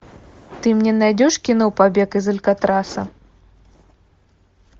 ты мне найдешь кино побег из алькатраса